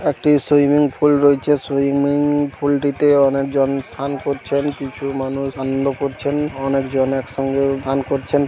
একটি swimming pool রয়েছে। Swimming pool টিতে অনেক জন স্নান করছেন। কিছু মানুষ আনন্দ করছেন। অনেক জন এক সঙ্গেও স্নান করছেন ।